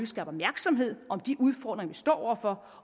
skaber opmærksomhed om de udfordringer vi står over for